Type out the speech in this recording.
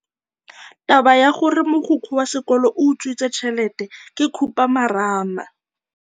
Taba ya gore mogokgo wa sekolo o utswitse tšhelete ke khupamarama.